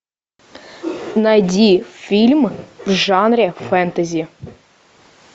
найди фильм в жанре фэнтези